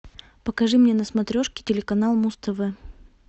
покажи мне на смотрешке телеканал муз тв